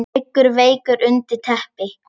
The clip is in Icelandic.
Liggur veikur undir teppi.